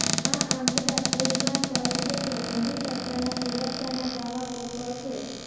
આ આંકડા પુરવાર કરે છે કે મોદી સરકારના સુરક્ષાના દાવા પોકળ છે